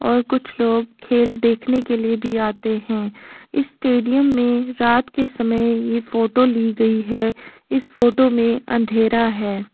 और कुछ लोग खेल देखने के लिए भी आते हैं इस स्टेडियम में रात के समय ये फोटो ली गयी है इस फोटो मे अंधेरा है।